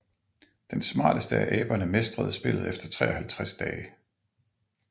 Den smarteste af aberne mestrede spillet efter 53 dage